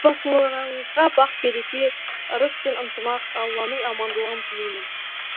отбасыларыңызға бақ береке ырыс пен ынтымақ алланың амандығын тілеймін